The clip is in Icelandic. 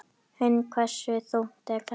Hrund: Hversu þungt er þetta?